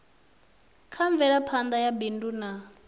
kha mvelaphana ya bindu na